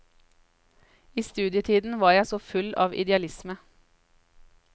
I studietiden var jeg så full av idealisme.